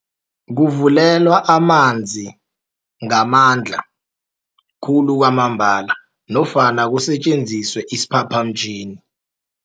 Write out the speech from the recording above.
Kuvulelwa amanzi ngamandla khulu kwamambala nofana kusetjenziswe isiphaphamtjhini.